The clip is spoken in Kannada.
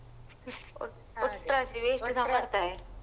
ಒ~ ಒಟ್ರಾಶಿ waste ಸ ಮಾಡ್ತಾರೆ.